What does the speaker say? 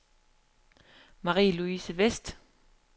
Marie-Louise Westh